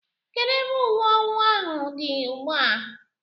Kedụ ebe ùwé owu ahụ dị ugbua?